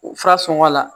Fura sɔngɔ la